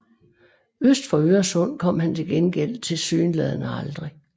Øst for Øresund kom han til gengæld tilsyneladende aldrig